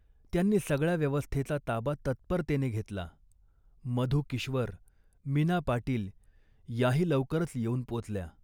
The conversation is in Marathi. त्यांनी सगळ्या व्यवस्थेचा ताबा तत्परतेने घेतला. मधू किश्वर, मीना पाटील याही लवकरच येऊन पोचल्या